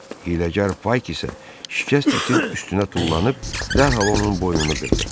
Hiləgər Payk isə şikəst itin üstünə tullanıb dərhal onun boynunu qırdı.